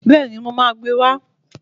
Bẹ́ẹ̀ni, mo máa gbe wá